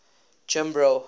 jimbro